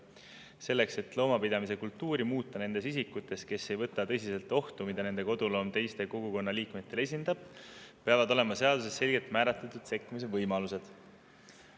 Selleks, et muuta nende isikute loomapidamiskultuuri, kes ei võta tõsiselt ohtu, mida nende koduloom endast teistele kogukonna liikmetele kujutab, peavad olema seaduses selgelt määratletud sekkumise võimalused.